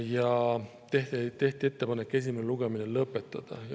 Ja tehti ka ettepanek esimene lugemine lõpetada.